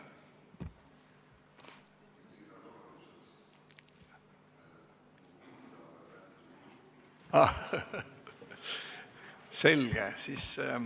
Aa, selge.